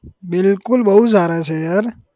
બિલકુલ બહુ સારા છે યાર.